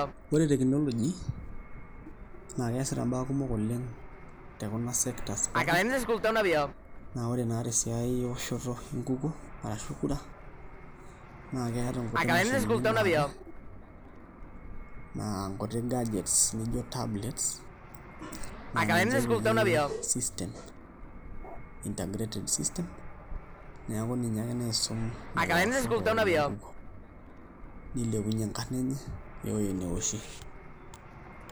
Ore teknoloji naa keesita mbaa kumok oleng te kuna sectors pookin naa ore naa tesiai eoshoto enkukuo naa keeta nkuti mashinini naatae naa nkuti gadgets nijio tablets naa ninche epiki system, integrated systems neeku ninye ake naisum lelo aoshok pookin le nkukuo nilepunyie enkarna enye woo ewueji neoshie.